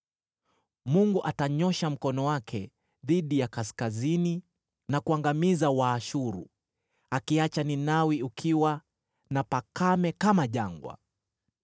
Mungu atanyoosha mkono wake dhidi ya kaskazini na kuangamiza Waashuru, akiiacha Ninawi ukiwa na pakame kama jangwa.